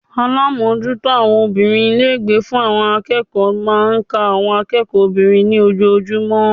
Alámójútó àwon obìnrin Ilé ìgbé fún àwon akéèkó máa n ka àwon akéèkó obìnrin ní ojojúmó